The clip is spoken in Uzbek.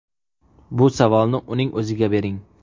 Bu savolni uning o‘ziga bering”.